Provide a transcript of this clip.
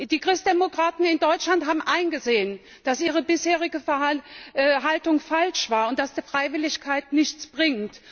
Die Christdemokraten in Deutschland haben eingesehen, dass ihre bisherige Haltung falsch war und dass die Freiwilligkeit nichts bringt.